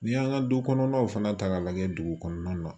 N'i y'an ka du kɔnɔnaw fana ta k'a lajɛ dugu kɔnɔna na